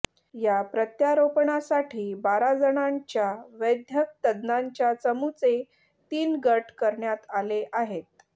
या प्रत्यारोपणासाठी बारा जणांच्या वैद्यकतज्ञांच्या चमूचे तीन गट करण्यात आले आहेत